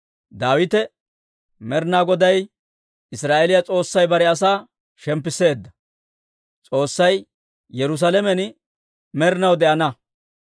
Daawite, «Med'inaa Goday Israa'eeliyaa S'oossay bare asaa shemppisseedda. S'oossay Yerusaalamen med'inaw de'ana.